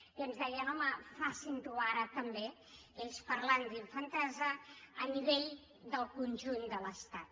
i ens deien home facin ho ara també ells parlant d’infantesa a nivell del conjunt de l’estat